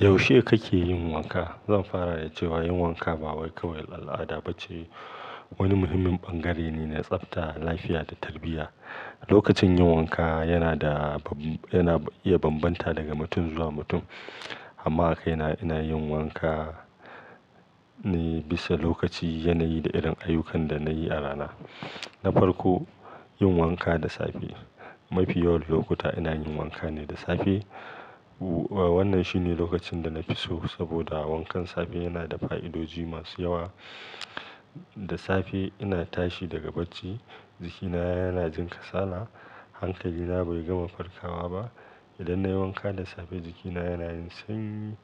Yaushe kake yin wanka? Zan fara da cewa yin wanka ba kawai al'ada bace, wani muhimmin bangare ne na tsafta, lafiya da tarbiyya. Lokacin yin wanka yana da, yana iya bambanta daga mutum zuwa mutum. Amma kai na, ina yin wanka ne bisa lokaci, yanayi da irin ayyukan da na yi a rana. Na farko, yin wanka da safe. Mafi yawan lokuta ina yin wanka ne da safe. Wannan shine lokacin da nafi so saboda wankan safe yana da fa'idoji masu yawa. Da safe ina tashi daga bacci, jikina yana jin kasala. Hankali na bai gama farkawa ba. Idan na yi wanka da safe, jikina yana jin sanyi,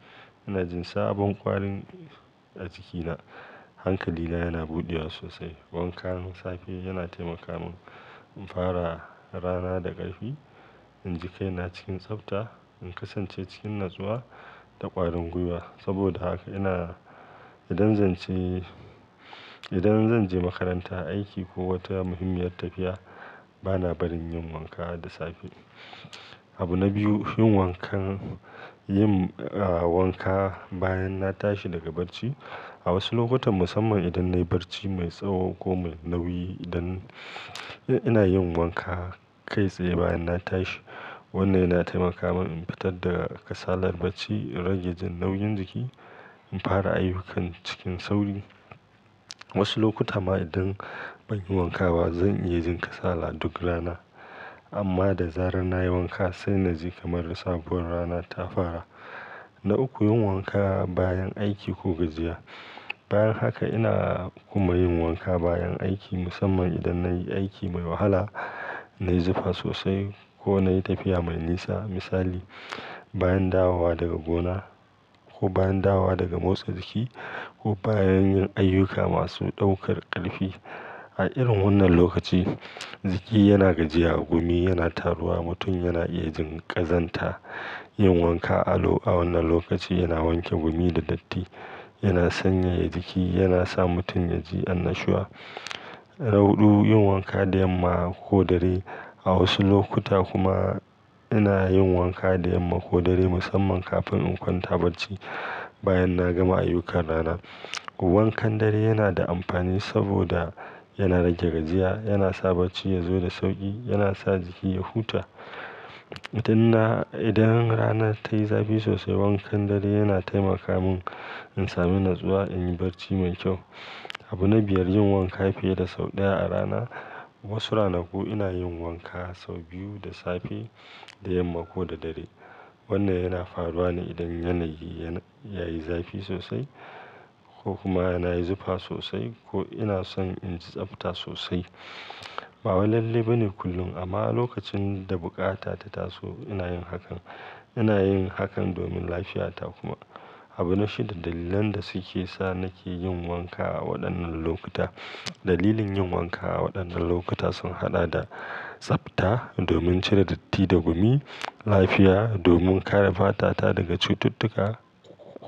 ina jin sabon ƙwarin a jikina, hankali na yana buɗewa sosai. Wankan safe yana taimaka mun in fara rana da ƙarfi, in ji kaina cikin tsafta, in kasance cikin natsuwa da ƙwarin gwiwa. Saboda haka ina, idan zan je makaranta, aiki ko wata muhimmiyar tafiya, bana barin yin wanka da safe. Abu na biyu, yin wanka bayan na tashi daga bacci. A wasu lokutan, musamman idan na yi barci mai tsaho ko mai nauyi, idan ina yin wanka kai tsaye bayan na tashi. Wannan yana taimaka mun in fitar daga kasalar bacci, in rage jin nauyin jiki, in fara ayyukan cikin sauri. Wasu lokuta ma idan banyi wanka ba, zan iya jin kasala duk rana. Amma da zarar nayi wanka, sai na ji kamar sabuwar rana ta fara. Na uku, yin wanka bayan aiki ko gajiya. Bayan haka ina kuma yin wanka bayan aiki, musamman idan na yi aiki mai wahala, na yi zafi sosai ko na yi tafiya mai nisa. Misali, bayan dawowa daga gona ko bayan dawa daga motsa jiki ko bayan yin ayyuka masu ɗaukar ƙarfi. A irin wannan lokaci, jiki yana gajiya, gumi yana taruwa, mutum yana iya jin ƙazanta. Yin wanka a wannan lokaci yana wanke gumi da datti, yana sanyaya jiki, yana sa mutum ya ji annashuwa. Na hudu, yin wanka da yamma ko dare. A wasu lokuta kuma ina yin wanka da yamma ko da dare, musamman kafin in kwanta bacci bayan na gama ayyukan rana. Wankan dare yana da amfani saboda yana rage gajiya, yana sa bacci ya zo da sauƙi, yana sa jiki ya huta. Idan na, idan rana ta yi zafi sosai, wankan dare yana taimaka mun in sami natsuwa, in yi barci mai kyau. Abu na biyar, yin wanka fiye da sau ɗaya a rana. Wasu ranaku ina yin wanka sau biyu, da safe, da yamma ko da dare. Wannan yana faruwa ne idan yanayi yayi zafi sosai ko kuma nayi zufa sosai ko ina son in tsafta sosai. Bawai lalle bane kullum amma lokacin da bukata ta taso ina yin hakan. Ina yin hakan domin lafiyata kuma. Abu na shida, dalilan da suke sa nake yin wanka a waɗannan lokuta. Dalilin yin wanka a waɗannan lokuta sun haɗa da tsafta, domin cire datti da gumi, lafiya, domin kare fata ta daga cututtuka,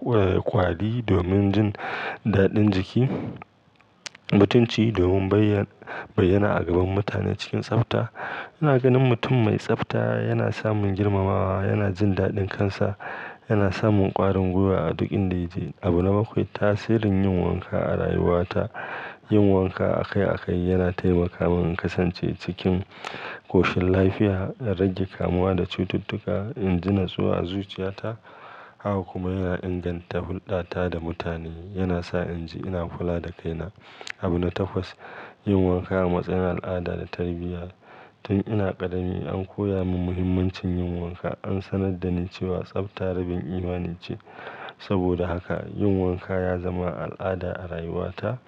ƙwari, domin jin daɗin jiki, mutunci, domin bayyana a gaban mutane cikin tsafta. Ina ganin mutum mai tsafta yana samun girmamawa, yana jin daɗin kansa, yana samun ƙwarin gwiwa a duk inda yake. Abu na bakwai, tasirin yin wanka a rayuwata. Yin wanka akai akai yana taimaka mun in kasance cikin ƙoshin lafiya, in rage kamuwa da cututtuka, in ji natsuwa a zuciyata. Haka kuma yana inganta hulɗata da mutane. Yana sa in ji ina kula da kaina. Abu na takwas, yin wanka a matsayin al'ada da tarbiyya. Tun ina ƙadami an koya mun muhimmancin yin wanka. An sanar da ni cewa tsafta rabin imani ce. Saboda haka yin wanka ya zama al'ada a rayuwata.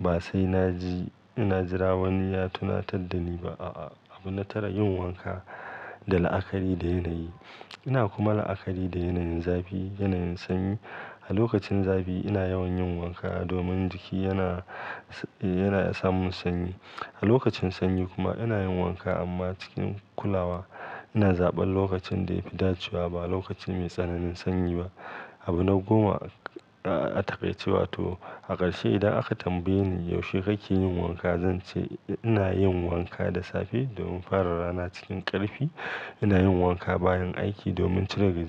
Ba sai na ji, na jira wani ya tunatar da ni ba. A'a. Abu na tara, yin wanka da la'akari da yanayi. Ina kuma la'akari da yanayin zafi, yanayin sanyi. A lokacin zafi ina yawan yin wanka domin jiki yana samun sanyi. A lokacin sanyi kuma ina yin wanka amma cikin kulawa. Ina zaɓan lokacin da ya fi dacewa ba lokacin mai tsananin sanyi ba. Abu na goma, a takaice wato a ƙarshe idan aka tambaye ni yaushe kake yin wanka? Zan ce ina yin wanka da safe domin fara rana cikin ƙarfi. Ina yin wanka bayan aiki domin cire gajiya.